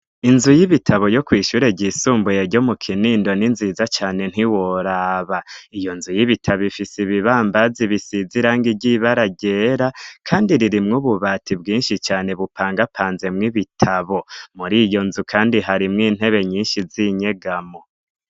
Inzu y'ibitabo yo kwishure ryisumbuye ryo mu Kinindo ni nziza cane ntiworaba. Iyo nzu y'ibitabo ifise ibibambazi bisize irangi ry'ibara ryera, kandi ririmwo ububati bwinshi cane bupangapanzemwo ibitabo. Muri iyo nzu kandi harimwo intebe nyinshi z'inyegamo.